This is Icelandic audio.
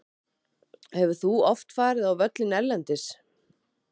Hefur þú oft farið á völlinn erlendis?